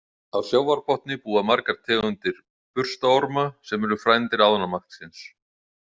Á sjávarbotni búa margar tegundir burstaorma, sem eru frændur ánamaðksins.